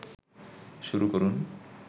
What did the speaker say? শুরু করুন